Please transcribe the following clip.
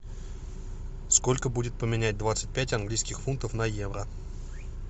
сколько будет поменять двадцать пять английских фунтов на евро